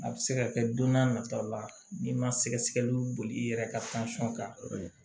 A bɛ se ka kɛ don n'a nataw la n'i ma sɛgɛsɛgɛliw boli i yɛrɛ ka kan